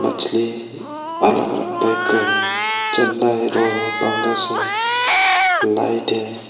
मछली अलग अलग टाइप का है चंगा है रोहू है पंगस है लाइट है।